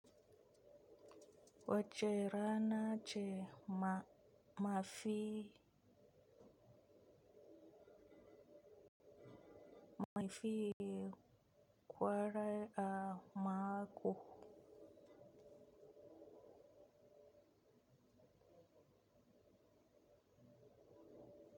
Wa ce rana ce ma mafi mafi kwarai a mako.